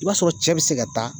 I b'a sɔrɔ cɛ be se ka taa